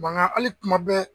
Manga ali kuma bɛɛ